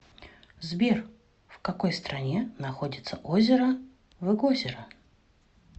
сбер в какой стране находится озеро выгозеро